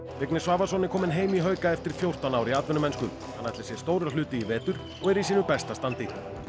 Vignir Svavarsson er kominn heim í hauka eftir fjórtán ár í atvinnumennsku hann ætlar sér stóra hluti í vetur og er í sínu besta standi